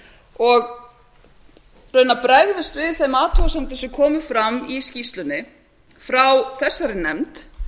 og raunar bregðumst við þeim athugasemdum sem komu fram í skýrslunni frá þessari nefnd